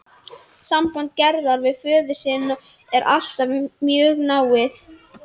Samband Gerðar við föður sinn er alltaf mjög náið.